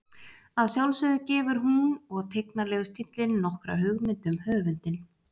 Að sjálfsögðu gefur hún og tignarlegur stíllinn nokkra hugmynd um höfundinn.